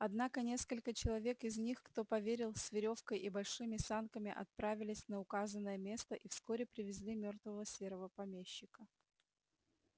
однако несколько человек из них кто поверил с верёвкой и большими санками отправились на указанное место и вскоре привезли мёртвого серого помещика